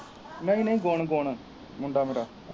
ਨਹੀਂ ਨਹੀਂ ਗੁਣ ਗੁਣ ਮੁੰਡਾ ਮੇਰਾ।